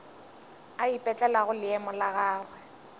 a ipetlelago leemo la gagwe